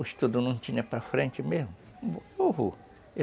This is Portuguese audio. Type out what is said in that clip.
O estudo não tinha para frente mesmo. Eu vou.